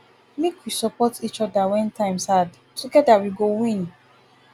make we support each oda wen times hard togeda we go win